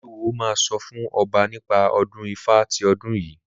Olúwo máa sọ fún ọba nípa ọdún Ifá ti ọdún yìí.